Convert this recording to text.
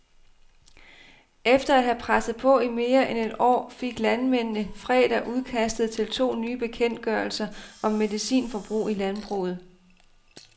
Efter at have presset på i mere end et år, fik landmændene fredag udkastet til to nye bekendtgørelser om medicinforbrug i landbruget.